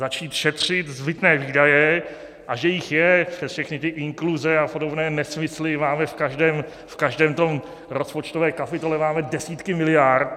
Začít šetřit zbytné výdaje, a že jich je, přes všechny ty inkluze a podobné nesmysly, máme v každé té rozpočtové kapitole desítky miliard.